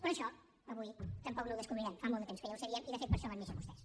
però això avui tampoc no ho descobrirem fa molt de temps que ja ho sabíem i de fet per això van néixer vostès